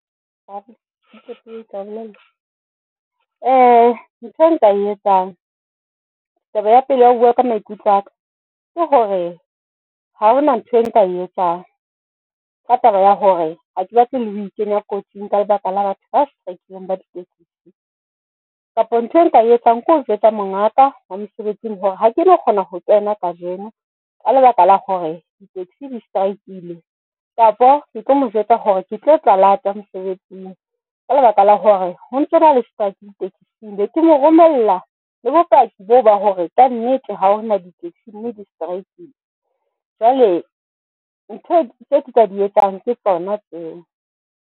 Ntho e nka e etsang. Taba ya pele ya ho bua ka maikutlo a ka ke hore ha hona ntho e nka e etsang ka taba ya hore hake batle le ho ikenya kotsing ka lebaka la batho ba strike-leng ditekise kapo ntho e nka e tsang keo jwetsa mongaka mosebetsing hore ha ke no kgona ho kena kajeno ka lebaka la hore ditekesi di-strike-ile kapo ke tlo mo jwetsa hore ke tlo tla lata mosebetsing ka lebaka la hore ho ntsona le strike ditekiseng be ke mo romella le bopaki bo ba hore ka nnete ha hona di taxi mme di-striking. Jwale ntho tse ka di etsang ke tsona tseo.